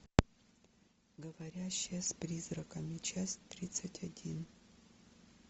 говорящая с призраками часть тридцать один